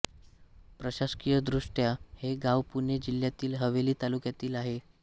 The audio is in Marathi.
प्रशासकीयदृष्ट्या हे गाव पुणे जिल्ह्यातील हवेली तालुक्यात आहे